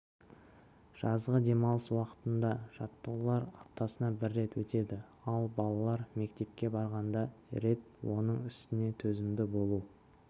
жазғы демалыс уақытында жаттығулар аптасына рет өтеді ал балалар мектепке барғанда рет оның үстіне төзімді болу